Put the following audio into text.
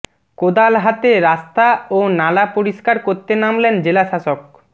কোদাল হাতে রাস্তা ও নালা পরিষ্কার করতে নামলেন জেলাশাসক